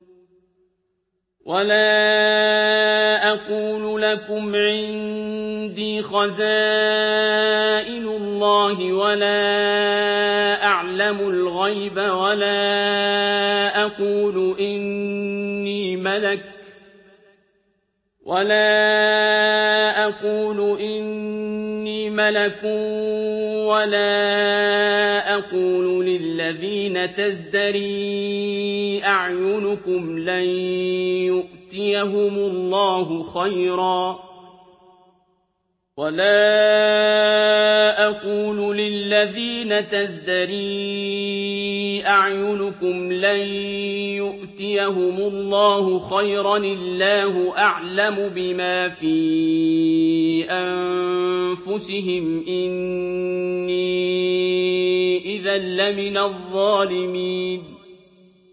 وَلَا أَقُولُ لَكُمْ عِندِي خَزَائِنُ اللَّهِ وَلَا أَعْلَمُ الْغَيْبَ وَلَا أَقُولُ إِنِّي مَلَكٌ وَلَا أَقُولُ لِلَّذِينَ تَزْدَرِي أَعْيُنُكُمْ لَن يُؤْتِيَهُمُ اللَّهُ خَيْرًا ۖ اللَّهُ أَعْلَمُ بِمَا فِي أَنفُسِهِمْ ۖ إِنِّي إِذًا لَّمِنَ الظَّالِمِينَ